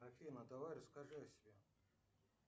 афина давай расскажи о себе